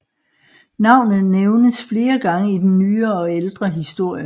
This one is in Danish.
Navnet nævnes flere gange i den nyere og ældre historie